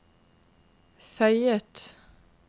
føyet